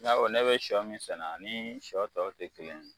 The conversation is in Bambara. I k'a fɔ ne bɛ sɔ min sɛnɛ ani sɔ tɔw tɛ kelen ye.